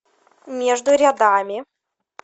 между рядами